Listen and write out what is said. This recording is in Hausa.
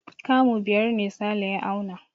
Kamu biyar ne Sale ya auna.